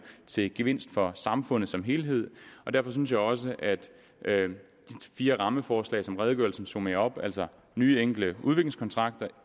til gevinst for samfundet som helhed derfor synes jeg også at de fire rammeforslag som redegørelsen summerer op altså nye enkle udviklingskontrakter